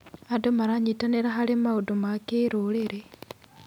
Andũ maranyitanĩra harĩ maũndũ ma kĩrũrĩrĩ.